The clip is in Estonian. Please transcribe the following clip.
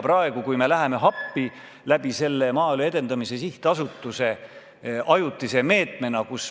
Praegu me läheme Maaelu Edendamise Sihtasutuse kaudu rakendatava ajutise meetmega appi.